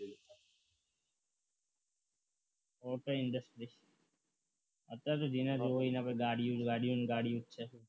industry અત્યારે તો જેના જોડે જ પાસે ગાડીઓ ગાડીઓ ગાડી જ છે